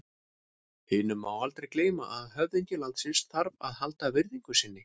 Hinu má aldrei gleyma að höfðingi landsins þarf að halda virðingu sinni.